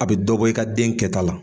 A bɛ dɔ bɔ i ka den kɛta la.